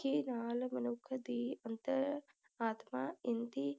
ਨਾਲ ਮਨੁੱਖ ਦੀ ਅੰਤਰ ਆਤਮਾ ਇੰਝ